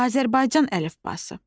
Azərbaycan əlifbası.